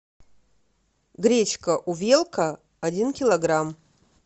гречка увелка один килограмм